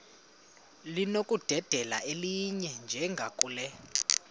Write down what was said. linokudedela elinye njengakule